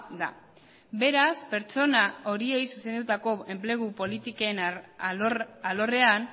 da beraz pertsona horiei zuzendutako enplegu politiken alorrean